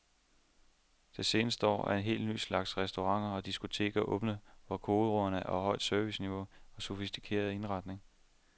Det seneste år er en helt ny slags restauranter og diskoteker åbnet, hvor kodeordene er højt serviceniveau og en sofistikeret indretning.